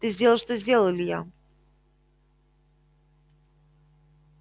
ты сделал что сделал илья